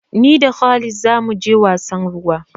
Ni da khalid za mu je wasan ruwa.